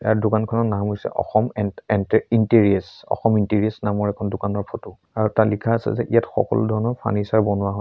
ইয়াৰ দোকানখনৰ নাম হৈছে অসম এন এণ্টে ইন্টেৰিয়'চ অসম ইন্টেৰিয়'চ নামৰ এখন দোকানৰ ফটো আৰু তাত লিখা আছে যে ইয়াত সকলো ধৰণৰ ফাৰ্ণিছাৰ বনোৱা হয়।